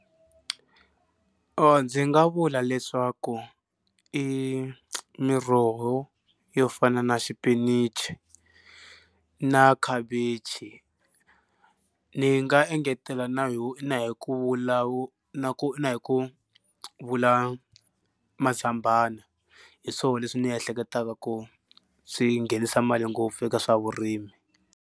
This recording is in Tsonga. Ndzi nga vula leswaku i miroho yo fana na xipinichi na khavichi ni nga engetela na na hi ku na ku na hi ku vula mazambana hi swona leswi ni ehleketaka ku swi nghenisa mali ngopfu eka swa vurimi.